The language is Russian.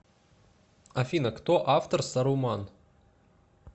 афина кто автор саруман